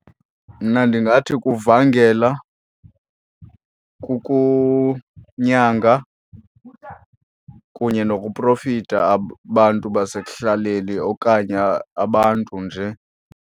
Mna ndingathi kuvangela, kukunyanga kunye nokuprofitha abantu basekuhlaleni okanye abantu nje.